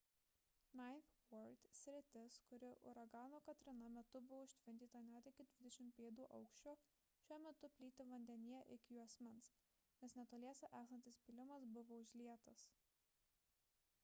ninth ward sritis kuri uragano katrina metu buvo užtvindyta net iki 20 pėdų aukščio šiuo metu plyti vandenyje iki juosmens nes netoliese esantis pylimas buvo užlietas